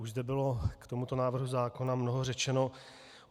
Už zde bylo k tomuto návrhu zákona mnoho řečeno.